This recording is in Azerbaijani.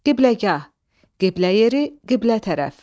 Qibləgah, qiblə yeri, qiblə tərəf.